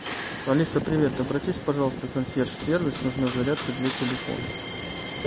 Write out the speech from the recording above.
алиса привет обратись пожалуйста в консьерж сервис нужна зарядка для телефона